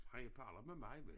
Han er på alder med mig men